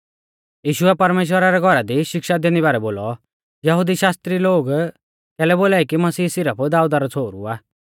यीशुऐ परमेश्‍वरा रै घौरा दी शिक्षा दैंदी बारै बोलौ यहुदी शास्त्री लोग कैलै बोलाई कि मसीह सिरफ दाऊदा रौ छ़ोहरु आ